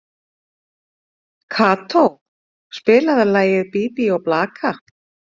Kató, spilaðu lagið „Bí bí og blaka“.